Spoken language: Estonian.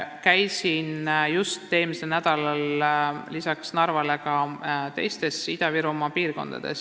Käisin just eelmisel nädalal lisaks Narvale ka teistes Ida-Virumaa piirkondades.